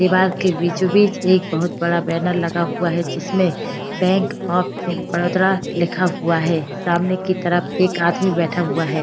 दीवाल के बीचो-बीच एक बहोत बड़ा बैनर लगा हुआ है जिसमें बैंक ऑफ़ बड़ोदरा लिखा हुआ है। सामने की तरफ एक आदमी बैठा हुआ है।